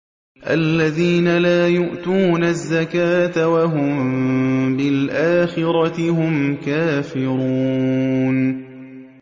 الَّذِينَ لَا يُؤْتُونَ الزَّكَاةَ وَهُم بِالْآخِرَةِ هُمْ كَافِرُونَ